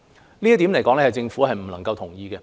這一點，政府不能夠同意。